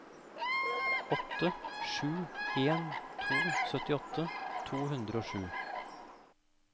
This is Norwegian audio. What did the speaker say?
åtte sju en to syttiåtte to hundre og sju